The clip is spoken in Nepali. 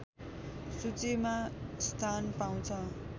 सूचीमा स्थान पाउँछ